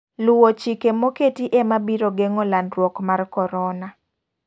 Luwo chkie moketi ema biro gengo landruok mar korona.